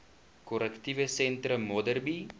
korrektiewe sentrum modderbee